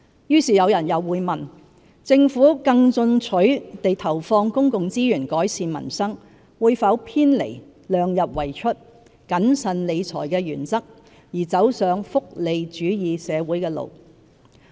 於是有人又會問，政府更進取地投放公共資源改善民生，會否偏離量入為出、謹慎理財的原則，而走上福利主義社會的路。